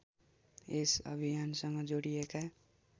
यस अभियानसँग जोडिएका